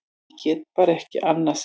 Ég get bara ekki annað sagt.